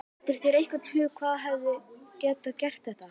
Dettur þér einhver í hug sem hefði getað gert þetta?